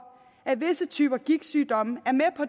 at visse typer gigtsygdomme